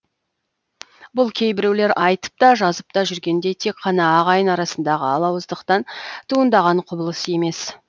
бұл кейбіреулер айтып та жазып та жүргендей тек қана ағайын арасындағы алауыздықтан туындаған құбылыс емес